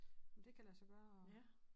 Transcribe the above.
Om det kan lade så gøre og